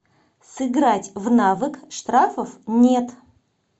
сыграть в навык штрафов нет